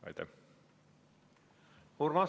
Aitäh!